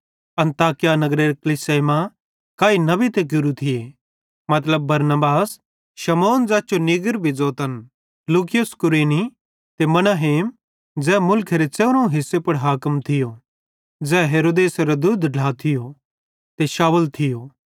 अन्ताकिया नगरेरे कलीसियाई मां काई नबी ते गुरू थिये मतलब बरनबास शमौन ज़ैस जो नीगर भी ज़ोतन लूकियुस कुरेनी ते मनाहेम ज़ै मुलखेरे च़ेवरोवं हिसे पुड़ हाकिम थियो ज़ै हेरोदेसेरो दुद्ध ढ्ला थियो ते शाऊल थियो